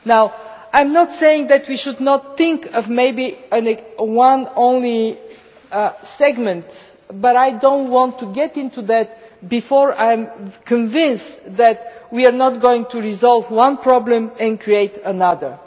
Now I am not saying that we should not think of maybe applying quotas to only one segment, but I do not want to go into that before I am convinced that we are not going to resolve one problem and create another.